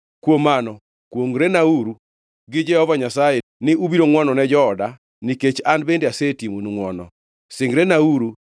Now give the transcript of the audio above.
“Kuom mano, kwongʼrenauru gi Jehova Nyasaye ni ubiro ngʼwonone jooda, nikech an bende asetimonu ngʼwono. Singrenauru